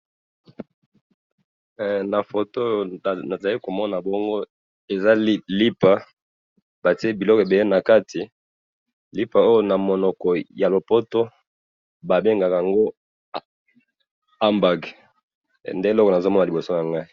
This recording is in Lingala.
Elili nazo mona liboso nanga awa, eza lipa bati biloko ebele na kati oyo ba bengaka na monoko ya lopoto Hamburger.